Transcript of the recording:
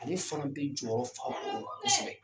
Ale fana bɛ jɔyɔrɔ fa kosɛbɛ.